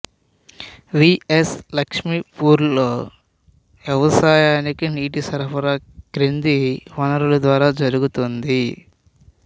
వి S లక్ష్మీపూర్లో వ్యవసాయానికి నీటి సరఫరా కింది వనరుల ద్వారా జరుగుతోంది